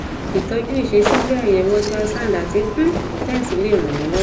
ìtọjú ìṣesí bí àyẹwò ultrasound àti um tens lè ràn yín lọwọ